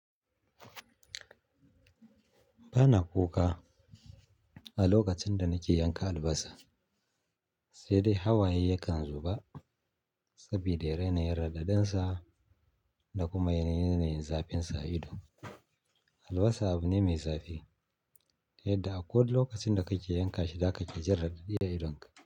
Ba na kuka a lokacin da nake yanka albasa, sai dai hawaye yakan zuba saboda yana yin radadinsa da kuma yana yin yanayin zafin sa ido. Albasa abu ne mai zafi, yadda a ko da lokacin da kake yanka shi, za ka ƙi ji radadiya idonka.